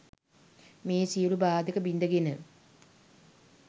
මේ සියලු බාධක බිඳ ගෙන